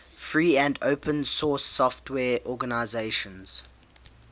free and open source software organizations